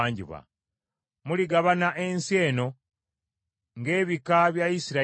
“Muligabana ensi eno ng’ebika bya Isirayiri bwe biri.